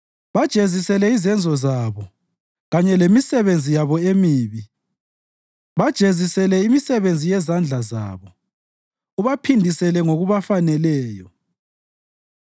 Bajezisele izenzo zabo kanye lemisebenzi yabo emibi; bajezisele imisebenzi yezandla zabo, ubaphindisele ngokubafaneleyo.